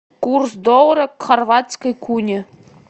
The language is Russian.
курс доллара к хорватской куне